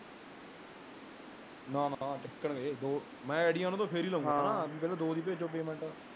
ਨਾ ਨਾ ਇਕ ਨਹੀਂ ਦੋ ਨੇ ਈਡੀ ਆਂਨਦੇ ਫਰ ਹੀ ਲਾਊਗਾ